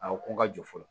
A ko ka jɔ fɔlɔ